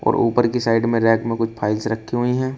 और ऊपर की साइड में रैक में कुछ फाइल्स रखी हुई है।